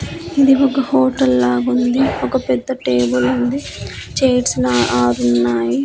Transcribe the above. ఇది ఒక హోటల్ లాగుంది ఒక పెద్ద టేబులుంది చైర్స్ న ఆరున్నాయి.